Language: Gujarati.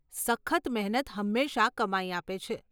સખત મહેનત હંમેશા કમાઈ આપે છે.